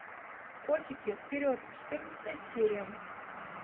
котики вперед четырнадцатая серия